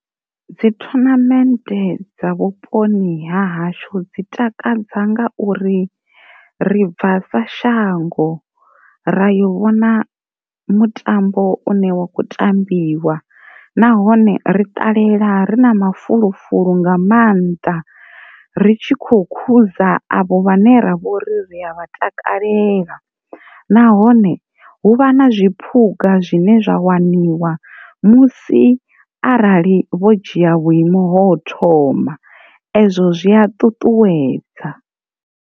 Dzi thonamente dza vhuponi ha hashu dzi takadza ngauri, ribva sa shango ra yo vhona mutambo une wa khou tambiwa nahone ri ṱalela ri na mafulufulu nga mannḓa ri tshi khou khuza avho vhane ravha uri ri a vha takalela, nahone hu vha na zwiphuga zwine zwa waniwa musi arali vho dzhia vhuimo thoma ezwo zwi a ṱutuwedza.